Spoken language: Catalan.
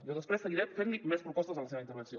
jo després seguiré fent li més propostes a la seva intervenció